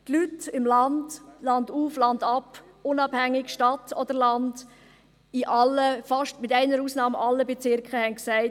Die Leute im Land, landauf, landab, unabhängig ob Stadt oder Land, mit einer Ausnahme in allen Bezirken haben gesagt: